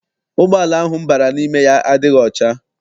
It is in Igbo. Ụgbọala ahụ m bara n'ime ya adịghị ọcha.